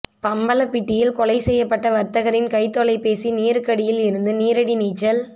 பம்பலப்பிட்டியில் கொலை செய்யப்பட்ட வர்த்தகரின் கைத் தொலைபேசி நீருக்கடியில் இருந்து நீரடி நீச்சல்